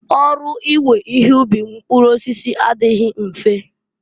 Ọrụ iwe ihe ubi mpụrụ osisi adịghị mfe.